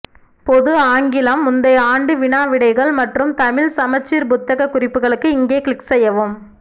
பொது ஆங்கிலம் முந்தைய ஆண்டு வினா விடைகள் மற்றும் தமிழ் சமச்சீர் புத்தக குறிப்புகளுக்கு இங்கே கிளிக் செய்யவும்